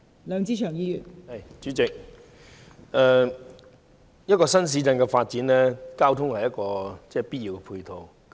代理主席，任何新市鎮的發展，交通都是必要的配套。